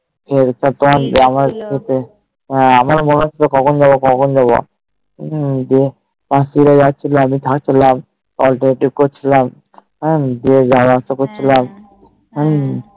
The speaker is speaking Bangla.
খেয়ে দিয়ে তোমার যত হ্যাঁ আমার মনে হচ্ছে কখন যাবো কখন যাবো যায় উহ যে একসাথে যাওয়ার ছিল আমি চললাম অল্প এই টুক করছিলাম দিয়ে যাওয়া আসা করছিলাম হম